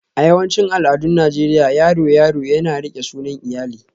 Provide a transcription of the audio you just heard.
A yawancin al'adun Najeriya, yaro yaro yana riƙe sunan iyali